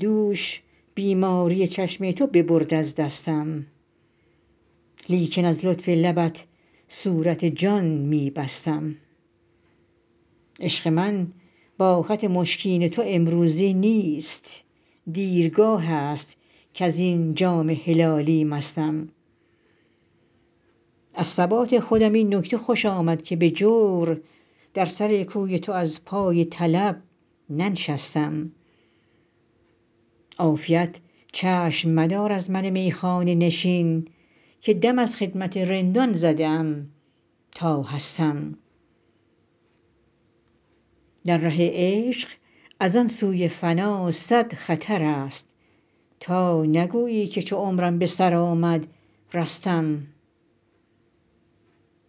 دوش بیماری چشم تو ببرد از دستم لیکن از لطف لبت صورت جان می بستم عشق من با خط مشکین تو امروزی نیست دیرگاه است کز این جام هلالی مستم از ثبات خودم این نکته خوش آمد که به جور در سر کوی تو از پای طلب ننشستم عافیت چشم مدار از من میخانه نشین که دم از خدمت رندان زده ام تا هستم در ره عشق از آن سوی فنا صد خطر است تا نگویی که چو عمرم به سر آمد رستم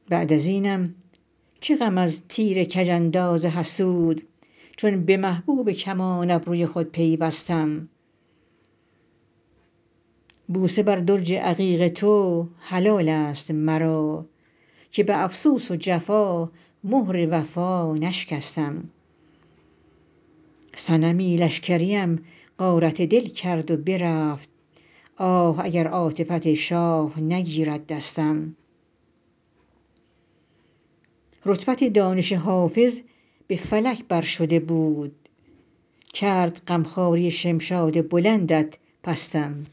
بعد از اینم چه غم از تیر کج انداز حسود چون به محبوب کمان ابروی خود پیوستم بوسه بر درج عقیق تو حلال است مرا که به افسوس و جفا مهر وفا نشکستم صنمی لشکریم غارت دل کرد و برفت آه اگر عاطفت شاه نگیرد دستم رتبت دانش حافظ به فلک بر شده بود کرد غم خواری شمشاد بلندت پستم